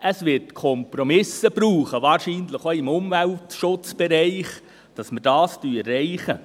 Es wird Kompromisse brauchen, wahrscheinlich auch im Umweltschutzbereich, damit wir dies erreichen.